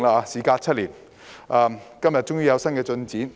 事隔7年，我們很高興今天終於有新進展。